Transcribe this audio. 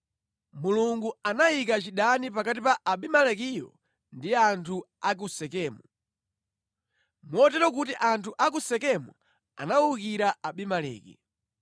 Mulungu anayika chidani pakati pa Abimelekiyo ndi anthu a ku Sekemu, motero kuti anthu a ku Sekemu anawukira Abimeleki.